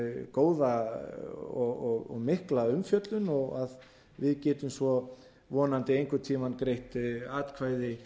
góða og mikla umfjöllun og að við getum svo vonandi einhvern tíma greitt atkvæði